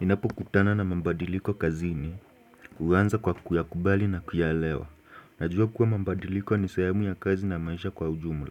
Ninapukutana na mambadiliko kazini, huwanza kwa kuyakubali na kuyalewa. Najua kuwa mambadiliko ni sehemu ya kazi na maisha kwa ujumla.